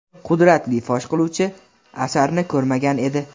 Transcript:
qudratli fosh qiluvchi asarni ko‘rmagan edi.